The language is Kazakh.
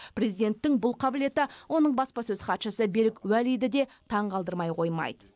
президенттің бұл қабілеті оның баспасөз хатшысы берік уәлиді де таңғалдырмай қоймайды